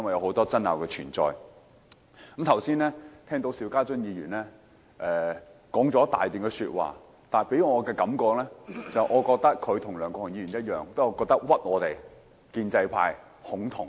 我剛才聽到邵家臻議員說了一大段說話，他給予我的感覺，就是他與梁國雄議員同樣在誣衊我們建制派"恐同"。